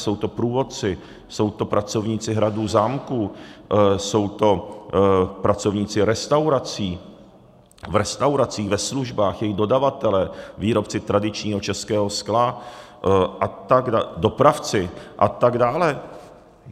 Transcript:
Jsou to průvodci, jsou to pracovníci hradů, zámků, jsou to pracovníci restaurací, v restauracích, ve službách, jejich dodavatelé, výrobci tradičního českého skla, dopravci a tak dále.